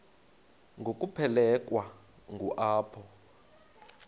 ngokuphelekwa ngu apho